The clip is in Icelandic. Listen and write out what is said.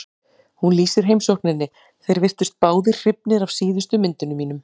Hún lýsir heimsókninni: Þeir virtust báðir hrifnir af síðustu myndunum mínum.